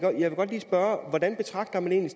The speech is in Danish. godt lige spørge hvordan betragter man